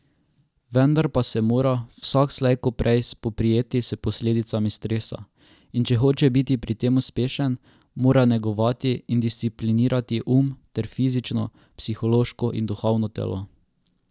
Vendar pa se mora vsak slej ko prej spoprijeti s posledicami stresa, in če hoče biti pri tem uspešen, mora negovati in disciplinirati um ter fizično, psihološko in duhovno telo.